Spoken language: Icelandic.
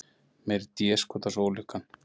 Meiri déskotans ólukkan.